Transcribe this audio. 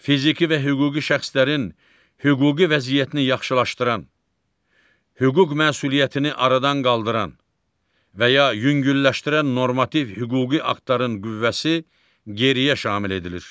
Fiziki və hüquqi şəxslərin hüquqi vəziyyətini yaxşılaşdıran, hüquq məsuliyyətini aradan qaldıran və ya yüngülləşdirən normativ hüquqi aktların qüvvəsi geriyə şamil edilir.